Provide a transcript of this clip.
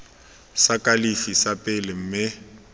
sa kalafi sa pele mme